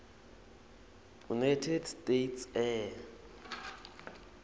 united states air